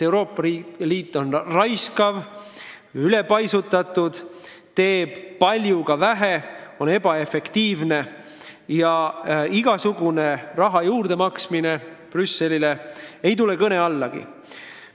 Euroopa Liit on raiskav, ülepaisutatud, teeb paljuga vähe, on ebaefektiivne ja igasugune raha juurdemaksmine ei tule kõne allagi.